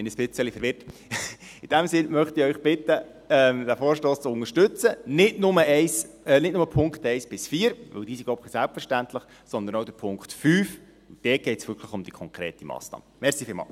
In dem Sinne möchte ich Sie bitten, den Vorstoss zu unterstützen, und das nicht nur in den Punkten 1–4, diese sind, glaube ich, selbstverständlich, sondern auch im Punkt 5, wo es wirklich um die konkrete Massnahme geht.